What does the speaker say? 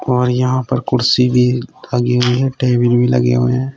और यहां पर कुर्सी भी लगी हुई हैं टेबिल भी लगे हुए हैं।